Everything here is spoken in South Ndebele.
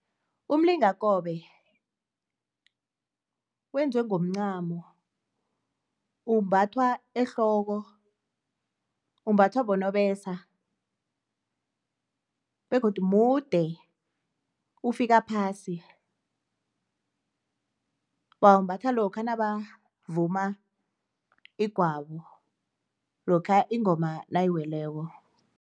Umlingakobe wenziwe ngomncamo, umbathwa ehloko umbathwa bonobesa begodu mude ufika phasi. Bawumbatha lokha nabavuma igwabo, lokha ingoma nayiweleko.